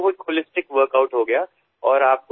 এনেদৰে এয়া এক সামূহিক ৱৰ্কআউটলৈ পৰিণত হল